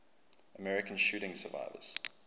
american shooting survivors